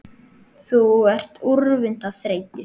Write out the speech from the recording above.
Þú ert úrvinda af þreytu